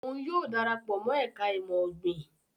Òun yóò darapọ̀ mọ ẹka imọ-ogbin